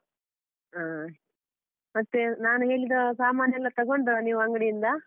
ಹಾ, ಮತ್ತೆ ನಾನ್ ಹೇಳಿದ ಸಾಮಾನ್ ಎಲ್ಲ ತಗೊಂಡ್ರ ನೀವು ಅಂಗಡಿಯಿಂದ?